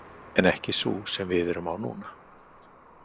En ekki sú sem við erum á núna.